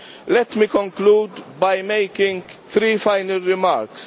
Let me conclude by making some final remarks.